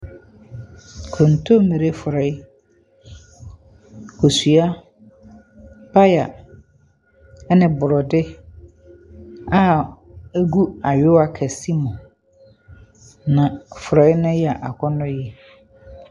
Kontommire forɔe, kosua, paya ne borɔde a egu ayowa kɛse mu, na forɔe no yɛ akɔnnɔ yie.